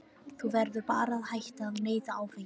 Þú verður bara að hætta að neyta áfengis.